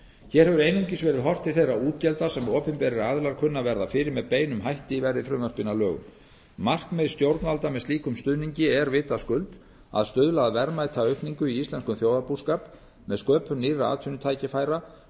hér hefur einungis verið horft til þeirra útgjalda sem opinberir aðilar kunna að verða fyrir með beinum hætti verði frumvörpin að lögum markmið stjórnvalda með slíkum stuðningi er vitaskuld að stuðla að verðmætaaukningu í íslenskum þjóðarbúskap með sköpun nýrra atvinnutækifæra